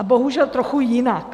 A bohužel trochu jinak.